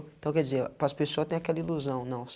Então quer dizer, para as pessoas têm aquela ilusão, não.